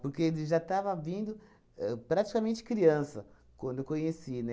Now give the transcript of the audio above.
Porque ele já estava vindo ahn praticamente criança, quando eu o conheci,